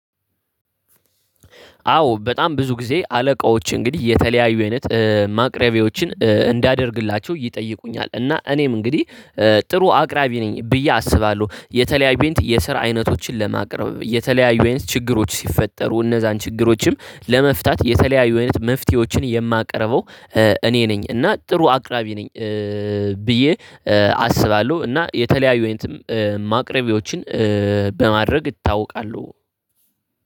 አዎ በጣም ብዙ ጊዜ አለቃዎች እንግዲህ የተለያዩ አይነት ማቅረቢያዎችን እንዳደርግላቸው ይጠይቁኛል እና እኔም እንግዲህ ጥሩ አቅራቢ ነኝ ብዬ አስባለሁ። የተለያዩ ቤንት የስራ አይነቶችን ለማቅረብ የተለያዩ ችግሮች ሲፈጠሩ እነዛን ችግሮችም ለመፍታት የተለያዩ አይነት መፍትሄዎችን የማቀርበው እኔ ነኝ እና ጥሩ አቅራቢ ነኝ ብዬ አስባለሁ። እና የተለያዩ ማቅረቢዎችን በማድረግ እታወቃሁ።